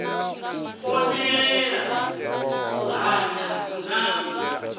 konḓelela u hanya na u